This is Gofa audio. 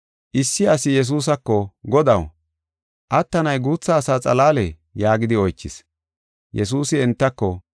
Issi asi Yesuusako, “Godaw, attanay guutha asa xalaalee?” yaagidi oychis. Yesuusi entako,